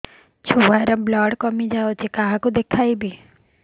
ଛୁଆ ର ବ୍ଲଡ଼ କମି ଯାଉଛି କାହାକୁ ଦେଖେଇବି